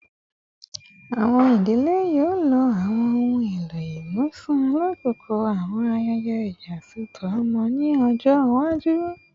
Awọn idile yoo lo awọn ohun elo imusin lakoko awọn ayẹyẹ iyasọtọ ọmọ ni ọjọ iwaju